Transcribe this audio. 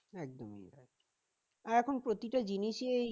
একদমই না আর এখন প্রতিটা জিনিসেই